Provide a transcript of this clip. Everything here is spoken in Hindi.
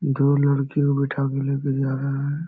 दो लड़कियों को बैठा के लेके जा रहा है।